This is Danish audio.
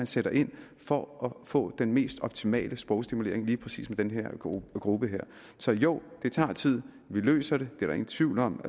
sætte ind for at få den mest optimale sprogstimulering af lige præcis den her gruppe så jo det tager tid vi løser det det er der ingen tvivl om